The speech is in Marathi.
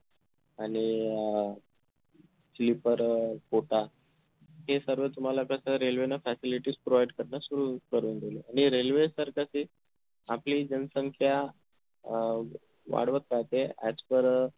आणि अह sleeper अह quota ते सर्व तुम्हाला कस railway न facilities provide करणं सुरु करून दिलय आणि railway तर कशी आपली जनसंख्या अं वाढवत राहते as per अह